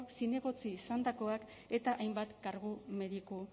zinegotzi izandakoak eta hainbat kargu mediku